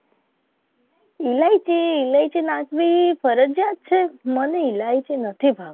ઈલાયચી ઇલાયચી નાખવી ફરજીયાત છે. ઈલાયચી નથી ભાવ.